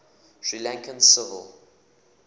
sri lankan civil